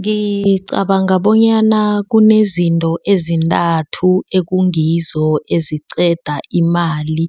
Ngicabanga bonyana kunezinto ezintathu ekungizo eziqeda imali